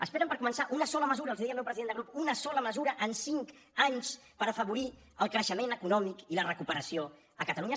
esperen per començar una sola mesura els hi deia el meu president de grup una sola mesura en cinc anys per afavorir el creixement econòmic i la recuperació a catalunya